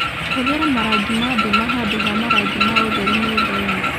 Hũthĩra marangi ma nduma handũ ha marangi ma ũtheri nyũmba-inĩ